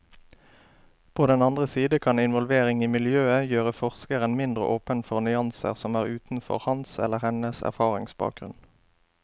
På den andre side kan involvering i miljøet gjøre forskeren mindre åpen for nyanser som er utenfor hans eller hennes erfaringsbakgrunn.